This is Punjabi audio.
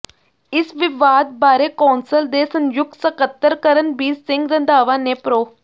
ਇਸ ਵਿਵਾਦ ਬਾਰੇ ਕੌਂਸਲ ਦੇ ਸੰਯੁਕਤ ਸਕੱਤਰ ਕਰਨਬੀਰ ਸਿੰਘ ਰੰਧਾਵਾ ਨੇ ਪ੍ਰੋ